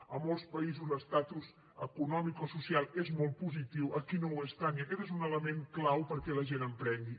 a molts països l’estatus econòmic o social és molt positiu aquí no ho és tant i aquest és un element clau perquè la gent emprengui